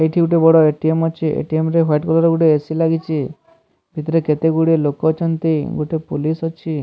ଏଠି ଗୋଟିଏ ବଡ ଏ ଟି ଏମ ଅଛି ଏ ଟି ଏମ ରେ ହ୍ୱାଇଟ କଲର ର ଗୋଟିଏ ଏ_ସି ଲାଗିଛି ସେଥରେ କେତେ ଗୁଡିଏ ଲୋକ ଅଛନ୍ତି ଗୋଟିଏ ପୁଲିସ ଅଛି।